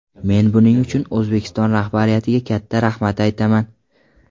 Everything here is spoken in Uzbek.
Men buning uchun O‘zbekiston rahbariyatiga katta rahmat aytaman.